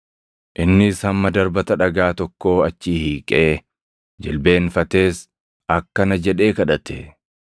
Innis hamma darbata dhagaa tokkoo achi hiiqee, jilbeenfatees akkana jedhee kadhate;